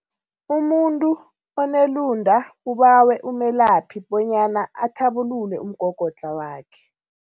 Umuntu onelunda ubawe umelaphi bonyana athabulule umgogodlha wakhe.